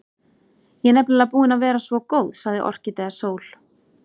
Ég er nefnilega búin að vera svo góð, sagði Orkídea Sól.